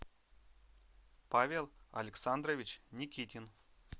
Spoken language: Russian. павел александрович никитин